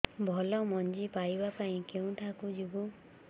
ଭଲ ମଞ୍ଜି ପାଇବା ପାଇଁ କେଉଁଠାକୁ ଯିବା